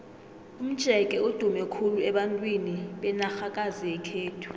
umjeke udume khulu abantwini benarhakazi yekhethu